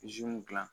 dilan